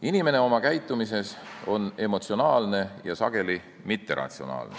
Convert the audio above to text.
Inimene on oma käitumises emotsionaalne ja sageli mitteratsionaalne.